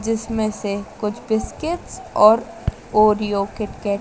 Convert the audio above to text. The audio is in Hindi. जिसमें से कुछ बिस्किटस और ओरियो किटकैट --